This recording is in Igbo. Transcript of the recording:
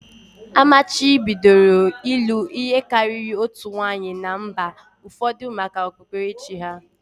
Amachibidoro ịlụ ihe karịrị otu nwanyị na mba ụfọdụ maka okpukperechi